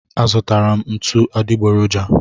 A zụtara m ntụ adịgboroja